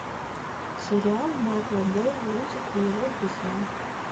сериал майкла бэя лунтик и его друзья